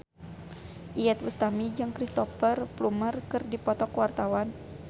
Iyeth Bustami jeung Cristhoper Plumer keur dipoto ku wartawan